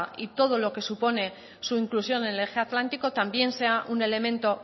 y todo lo que supone su inclusión en el eje atlántico también sea un elemento